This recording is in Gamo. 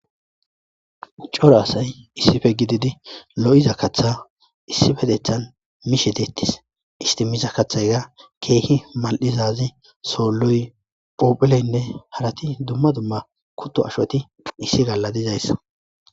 cora asay issife gididi lo7iza katha issifedethan mishe deettis istimiza kathayga keehi mal7izazi soolloy phophileynne harati dumma dumma kutto ashoti issi galla dizayssa